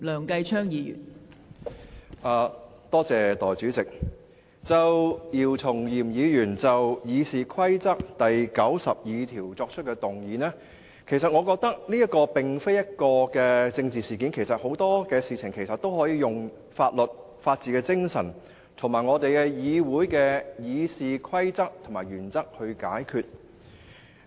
代理主席，姚松炎議員就《議事規則》第902條提出的議案，我覺得這並不是一件政治事件，很多事情其實都可以用法律、法治精神，以及《議事規則》及議會原則來解決。